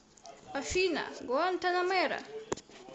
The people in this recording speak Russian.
афина гуантанамера